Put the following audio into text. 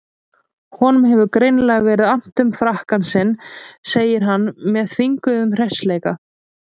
Honum hefur greinilega verið annt um frakkann sinn, segir hann með þvinguðum hressileika.